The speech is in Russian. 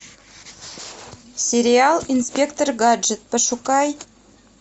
сериал инспектор гаджет пошукай